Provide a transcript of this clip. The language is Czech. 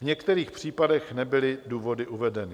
V některých případech nebyly důvody uvedeny.